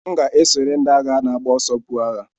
M ga-esonyere ndị agha na-agba ọsọ, buo agha.